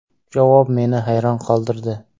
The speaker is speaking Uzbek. Javob meni hayron qoldirdi.